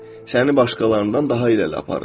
Səni başqalarından daha irəli aparır.